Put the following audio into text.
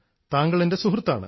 താങ്കൾ എൻറെ സുഹൃത്താണ്